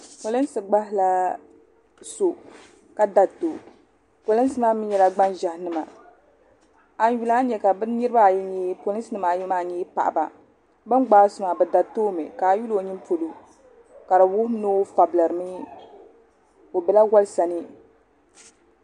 Polinsi gbaagi la so ka dariti o polinsi maa mee nyɛla gban'ʒehi nima a yi yuli a ni nya ka polinsi niriba ayi maa nyɛ paɣaba bini gbaagi so maa bɛ dariti o mi a yuli o ninipolo ka di wuhi ni o fabilirimi o bela wolisani.